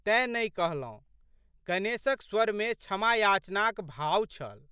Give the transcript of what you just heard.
तेँ नहि कहलौं। गणेशक स्वरमे क्षमायाचनाक भाव छल।